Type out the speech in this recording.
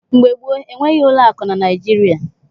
Mgbe gboo, enweghị ụlọakụ na Naịjirịa.